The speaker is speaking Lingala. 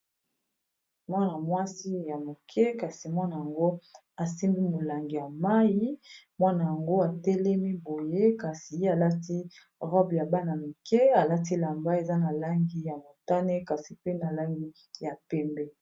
Mwana-mwasi ya moke kasi mwana yango asimbi molangi ya mayi mwana yango atelemi boye kasi ye alati robe ya bana mike alati elamba eza na langi ya motane kasi pe na langi ya pembe.